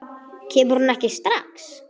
Kemur hún ekki strax?